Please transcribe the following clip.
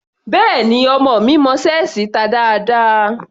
Béẹ̀ni, ọmọ mi mọ ṣẹ́ẹ̀sì ta dáadáa.